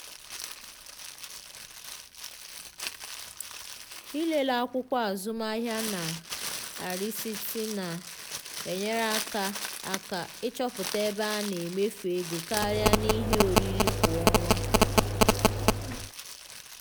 ịlele akwukwo azụmahịa na risiti na-enyere aka aka ịchọpụta ebe a na-emefu ego karịa n’ihe oriri kwa ọnwa.